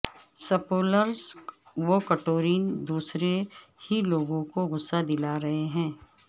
spoilers Victorian دور سے ہی لوگوں کو غصہ دلا رہے ہیں